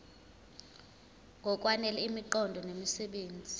ngokwanele imiqondo nemisebenzi